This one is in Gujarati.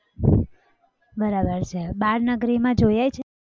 બરાબર છે બાળનગરીમાં જોઈ આવી છે?